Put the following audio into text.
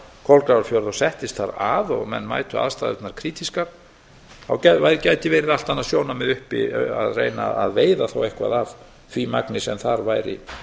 kolgrafafjörð og settist þar að og menn mætu aðstæðurnar krítískar gæti verið allt annað sjónarmið uppi að reyna að veiða þá eitthvað af því magni sem þar væri